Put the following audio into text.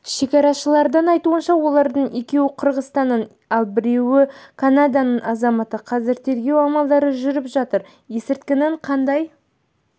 шекарашылардың айтуынша олардың екеуі қырғызстанның ал біреуі канаданың азаматы қазір тергеу амалдары жүріп жатыр есірткінің қандай